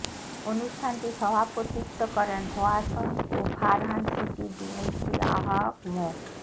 অনুষ্ঠানটি সভাপতিত্ব করেন হোয়াসং ও ফারহান সিটি বিএনপির আহ্বায়ক মো